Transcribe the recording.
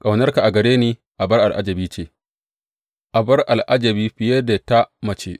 Ƙaunarka a gare ni abar al’ajabi ce, abar al’ajabi fiye da ta mace.